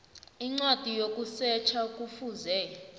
incwadi yokusetjha kufuze